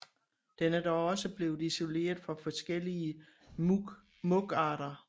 Den er dog også blevet isoleret fra forskellige mugarter